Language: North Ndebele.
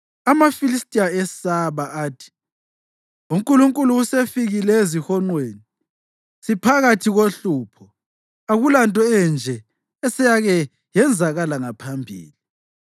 amaFilistiya esaba. Athi, “Unkulunkulu usefikile ezihonqweni. Siphakathi kohlupho. Akulanto enje eseyake yenzakala ngaphambili.